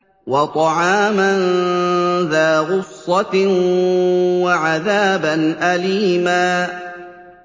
وَطَعَامًا ذَا غُصَّةٍ وَعَذَابًا أَلِيمًا